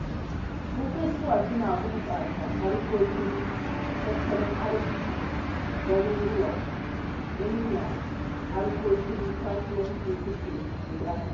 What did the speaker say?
Bukuwa suna bunƙasa harkokin tattalin arzikin garuruwa, inda harkokin kasuwanci suke gudana.